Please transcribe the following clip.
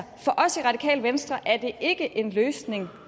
kan venstre er det ikke en løsning